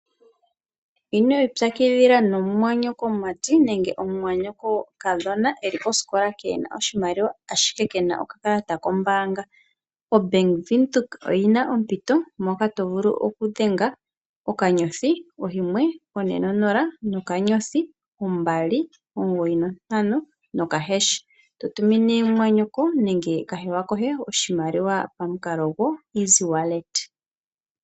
Ino ipyakidhila nomumwanyokomati nenge omumwanyokokadhona eli kosikola keena oshimaliwa, ashike kena okakalata kombanga. Bank Windhoek oyina ompito mpoka to vulu okudhenga okanyothi , oyimwe, one, onola, okanyothi, ombali, omugoyi, ontano nokahasha(#), eto to tumine mumwanyoko nenge kahewa koe oshimaliwa pamukalo gwo EasyWallet.